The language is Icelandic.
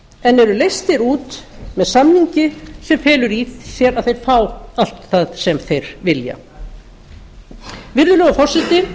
en eru leystir út með samningi sem felur í sér að þeir fá allt það sem þeir vilja virðulegur forseti